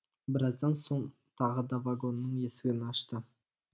біраздан соң тағы да вагонның есігін ашты